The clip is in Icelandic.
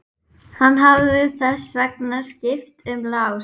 Hann hefði þess vegna skipt um lás.